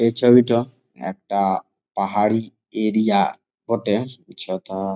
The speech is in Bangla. এই ছবিটো একটা পাহাড়ি এরিয়া বটে যথা-আ।